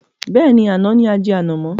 Bẹ́ẹ̀ni, àná ni ajẹ ànàmọ̀.